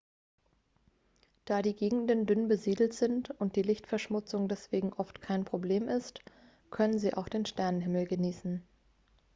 da die gegenden dünn besiedelt sind und die lichtverschmutzung deswegen oft kein problem ist können sie auch den sternenhimmel genießen